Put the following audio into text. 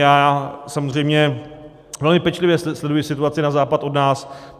Já samozřejmě velmi pečlivě sleduji situaci na západ od nás.